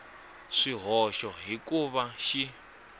swihoxo hi ku va xi